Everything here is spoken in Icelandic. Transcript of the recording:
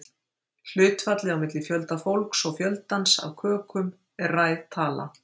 Hlutfallið á milli fjölda fólks og fjöldans af kökum er ræð tala.